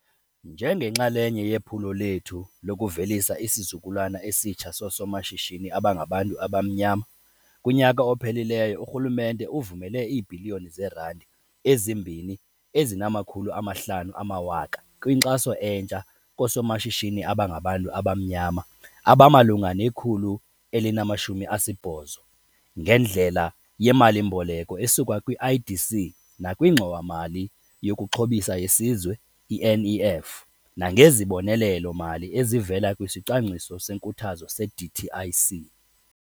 Njengenxalenye yephulo lethu lokuvelisa isizukulwana esitsha soosomashishini abangabantu abamnyama, kunyaka ophelileyo urhulumente uvumele iibhiliyoni zeerandi eziyi-2.5 kwinkxaso entsha koosomashishini abangabantu abamnyama abamalunga ne-180 ngendlela yemali-mboleko esuka kwi-IDC nakwiNgxowa-mali yokuXhobisa yeSizwe, i-NEF, nangezibonelelo-mali ezivela kwisicwangciso senkuthazo se-DTIC.